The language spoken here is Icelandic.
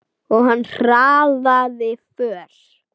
Og hann hraðaði för.